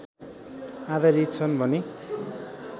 आधारित छन् भने